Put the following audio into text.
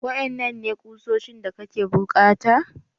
Waƴanannan ne kuoshin da kake bukata?